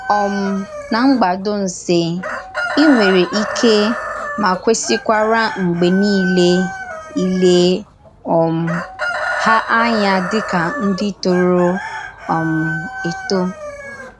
um Na mgbàdònsè, ị nwerè íké ma kwésìkwara mgbè niile ìlè um hà ànyà dị ka ndí tòrò um etò.